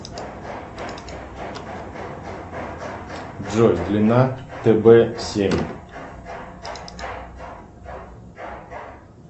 джой длина тб семь